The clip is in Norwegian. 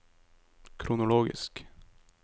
kronologisk